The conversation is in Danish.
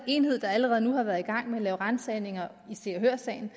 enhed der allerede nu har været i gang med at lave ransagninger i se og hør sagen